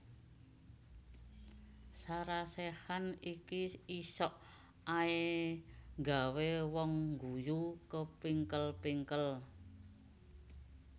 Sarah Sechan iki isok ae nggawe wong ngguyu kepingkel pingkel